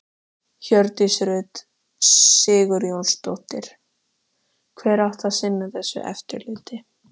Hjördís Rut Sigurjónsdóttir: Hver átti að sinna þessu eftirliti?